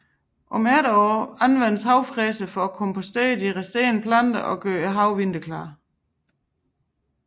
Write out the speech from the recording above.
Om efteråret anvendes havefræseren til at kompostere de resterende planter og gøre haven vinterklar